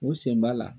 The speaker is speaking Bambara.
U sen b'a la